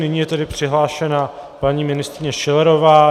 Nyní je tedy přihlášena paní ministryně Schillerová.